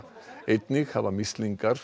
einnig hafa mislingar